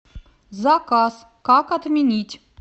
заказ как отменить